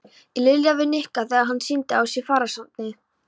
Lilja við Nikka þegar hann sýndi á sér fararsnið.